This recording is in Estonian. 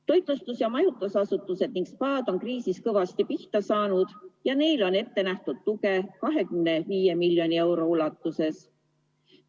Toitlustus- ja majutusasutused ning spaad on kriisis kõvasti pihta saanud ja neile on ette nähtud tugi 25 miljoni euro ulatuses.